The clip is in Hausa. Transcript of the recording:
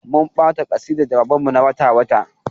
Mun ba ta kasidar jawaban mu na wata-wata.